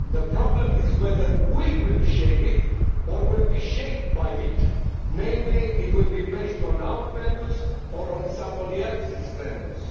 The problem is whether we will shape it or will be shaped by it in other words, whether it will be based on our values or on somebody else's values.